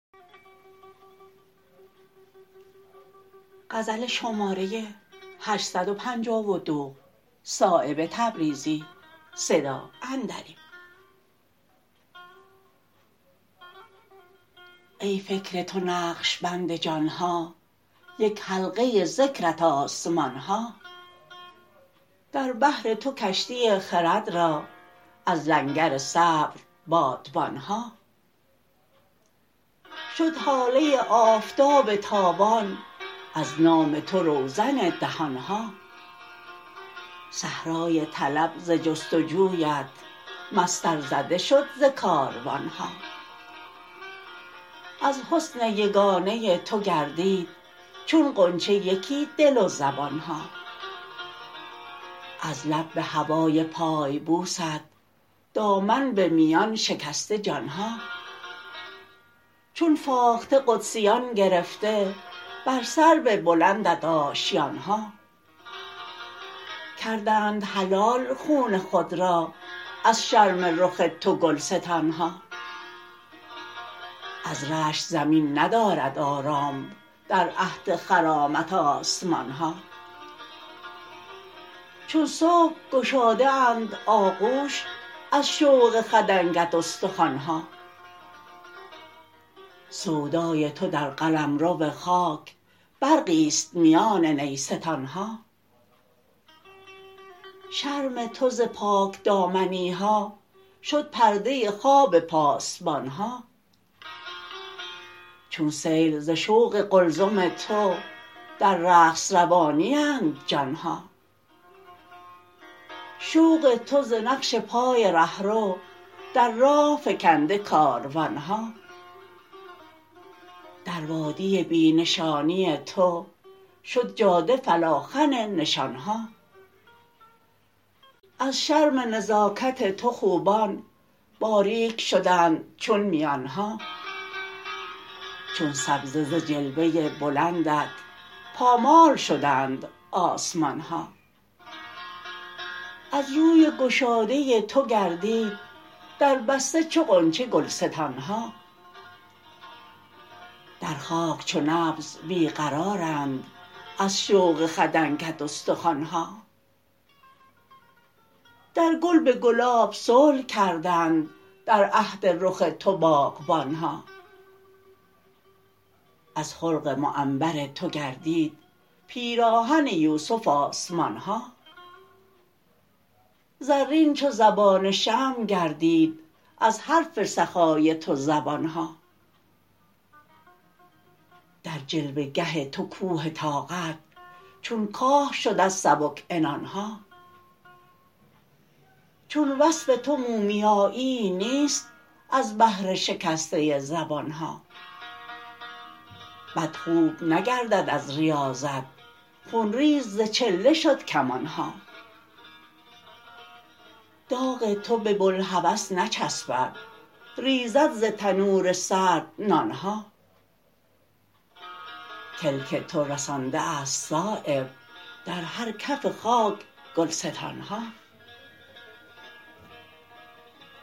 ای فکر تو نقشبند جان ها یک حلقه ذکرت آسمان ها در بحر تو کشتی خرد را از لنگر صبر بادبان ها شد هاله آفتاب تابان از نام تو روزن دهان ها صحرای طلب ز جستجویت مسطر زده شد ز کاروان ها از حسن یگانه تو گردید چون غنچه یکی دل و زبان ها از لب به هوای پای بوست دامن به میان شکسته جان ها چون فاخته قدسیان گرفته بر سرو بلندت آشیان ها کردند حلال خون خود را از شرم رخ تو گلستان ها از رشک زمین ندارد آرام در عهد خرامت آسمان ها چون صبح گشاده اند آغوش از شوق خدنگت استخوان ها سودای تو در قلمرو خاک برقی است میان نیستان ها شرم تو ز پاکدامنی ها شد پرده خواب پاسبان ها چون سیل ز شوق قلزم تو در رقص روانی اند جان ها شوق تو ز نقش پای رهرو در راه فکنده کاروان ها در وادی بی نشانی تو شد جاده فلاخن نشان ها از شرم نزاکت تو خوبان باریک شدند چون میان ها چون سبزه ز جلوه بلندت پامال شدند آسمان ها از روی گشاده تو گردید در بسته چو غنچه گلستان ها در خاک چو نبض بی قرارند از شوق خدنگت استخوان ها در گل به گلاب صلح کردند در عهد رخ تو باغبان ها از خلق معنبر تو گردید پیراهن یوسف آسمان ها زرین چو زبان شمع گردید از حرف سخای تو زبان ها در جلوه گه تو کوه طاقت چون کاه شد از سبک عنان ها چون وصف تو مومیاییی نیست از بهر شکسته زبان ها بد خوب نگردد از ریاضت خونریز ز چله شد کمان ها داغ تو به بوالهوس نچسبد ریزد ز تنور سرد نان ها کلک تو رسانده است صایب در هر کف خاک گلستان ها